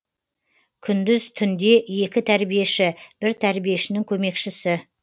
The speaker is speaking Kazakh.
күндіз түнде екі тәрбиеші бір тәрбиешінің көмекшісі